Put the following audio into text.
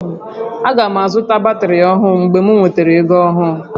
Aga m azụta batrị ọhụrụ mgbe m nwetara ego ahụ